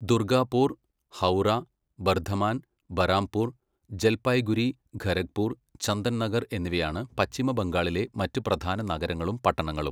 ദുർഗാപൂർ, ഹൗറ, ബർധമാൻ, ബറാംപൂർ, ജൽപായ്ഗുരി, ഖരഗ്പൂർ, ചന്ദൻനഗർ എന്നിവയാണ് പശ്ചിമ ബംഗാളിലെ മറ്റ് പ്രധാന നഗരങ്ങളും പട്ടണങ്ങളും.